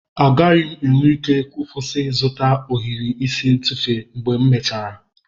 Agaghị m enwe ike ịkwụsị ịzụta ohiri isi ntufu mgbe m mechara.